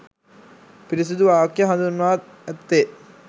පිරිසිදු වාක්‍ය හඳුන්වා ඇත්තේ